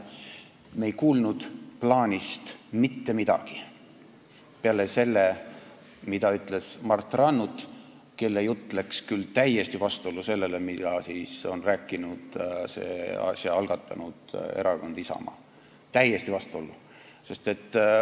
Me ei kuulnud plaanist mitte midagi peale selle, mida ütles Mart Rannut, kelle jutt läks küll täiesti vastuollu sellega, mida on rääkinud selle arutelu algatanud erakond Isamaa, täiesti vastuollu.